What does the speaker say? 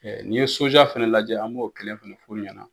N'i ye soja fana lajɛ an b'o kelen fana f'u ɲɛna